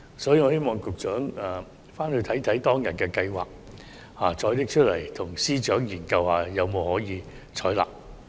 所以，我希望局長回顧當時的計劃，再與司長研究是否可以採納。